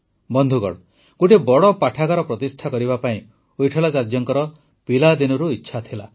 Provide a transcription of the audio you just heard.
ବନ୍ଧୁଗଣ ଗୋଟିଏ ବଡ଼ ପାଠାଗାର ପ୍ରତିଷ୍ଠା କରିବା ପାଇଁ ୱିଟଠଲାଚାର୍ଯ୍ୟଙ୍କର ପିଲାଦିନୁ ଇଚ୍ଛା ଥିଲା